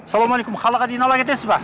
саламалейкум қалаға дейін ала кетесіз ба